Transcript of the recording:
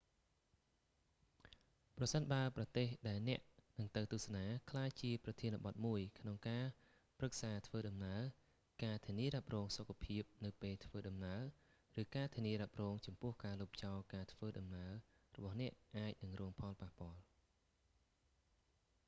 ប្រសិនបើប្រទេសដែលអ្នកនឹងទៅទស្សនា ក្លាយជាប្រធានបទមួយក្នុងការប្រឹក្សាធ្វើដំណើរ ការធានារ៉ាប់រងសុខភាពនៅពេលធ្វើដំណើរឬការធានារ៉ាប់រងចំពោះការលុបចោលការធ្វើដំណើររបស់អ្នកអាចរងផលប៉ះពាល់